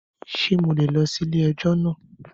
Ṣé mo lè lọ sí ilé ẹjọ́ náà?